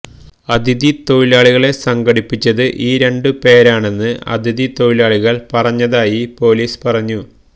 അതിഥി തൊഴിലാളികളെ സംഘടിപ്പിച്ചത് ഈ രണ്ടു പേരാണെന്ന് അതിഥി തൊഴിലാളികള് പറഞ്ഞതായി പൊലീസ് പറഞ്ഞു